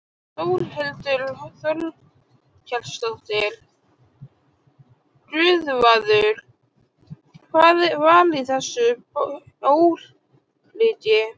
Þórhildur Þorkelsdóttir: Guðvarður, hvað var í þessu bjórlíki?